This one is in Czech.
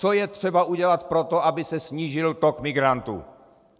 Co je třeba udělat pro to, aby se snížil tok migrantů.